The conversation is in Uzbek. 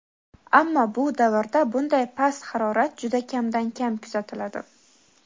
Ammo bu davrda bunday past harorat juda kamdan-kam kuzatiladi.